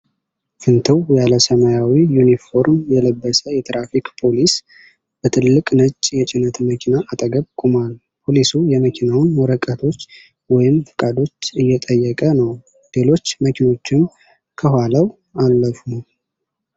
ፍንትው ያለ ሰማያዊ ዩኒፎርም የለበሰ የትራፊክ ፖሊስ በትልቅ ነጭ የጭነት መኪና አጠገብ ቆሟል። ፖሊሱ የመኪናውን ወረቀቶች ወይም ፍቃዶች እየጠየቀ ነው፡፡ ሌሎች መኪኖችም ከኋላው አለፉ።